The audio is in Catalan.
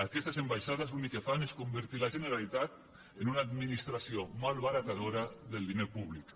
aquestes ambaixades l’únic que fan és convertir la generalitat en una administració malbaratadora del diner públic